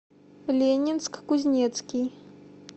ленинск кузнецкий